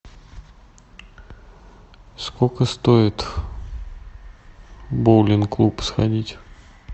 сколько стоит в боулинг клуб сходить